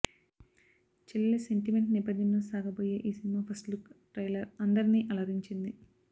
చెల్లలి sentiment నేపధ్యంలో సాగాబోయే ఈ సినిమా ఫస్ట్ లుక్ ట్రైలర్ అందరినీ అలరించింది